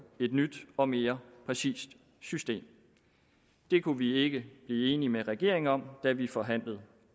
et nyt og mere præcist system det kunne vi ikke blive enige med regeringen om da vi forhandlede